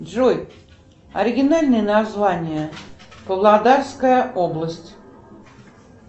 джой оригинальное название павлодарская область